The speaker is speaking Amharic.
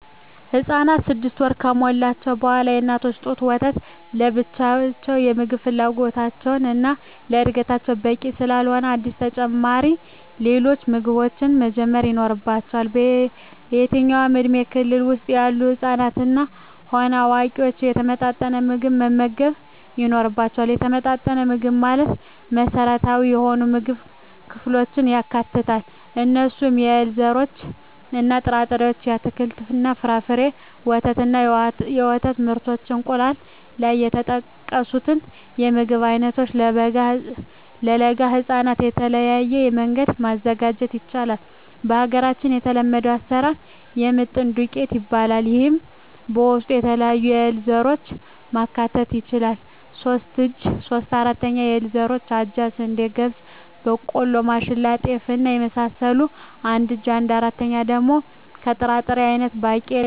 ህፃናት ስድስት ወር ከሞላቸዉ በኋላ የእናት ጡት ወተት ለብቻዉ የምግብ ፍላጎታቸዉን እና ለእድገታቸዉ በቂ ስላልሆነ አዲስ ተጨማሪ ሌሎች ምግቦችን መጀመር ይኖሮባቸዋል በየትኛዉም የእድሜ ክልል ዉስጥ ያሉ ህፃናትም ሆነ አዋቂዎች የተመጣጠነ ምግብ መመገብ ይኖርባየዋል የተመጣጠነ ምግብ ማለት መሰረታዊ የሆኑየምግብ ክፍሎችን ያካትታል እነርሱም - የእህል ዘሮችእና ጥራጥሬዎች - አትክልትና ፍራፍሬ - ወተት እና የወተት ምርቶች - እንቁላል ከላይ የተጠቀሱትን የምግብ አይነቶች ለለጋ ህፃናት በተለየ መንገድ ማዘጋጀት ይቻላል በሀገራችን የተለመደዉ አሰራር የምጥን ዱቄት ይባላል ይሄም በዉስጡ የተለያዩ የእህል ዘሮችን ማካተት ይቻላል ሶስት እጂ (3/4) ከእህል ዘሮች አጃ፣ ስንዴ፣ ገብስ፣ ቦቆሎማሽላ፣ ጤፍ እና የመሳሰሉት አንድ እጂ(1/4)ደሞ ከጥራጥሬ አይነቶች ባቄላ፣ ሽንብራማካተት ነዉ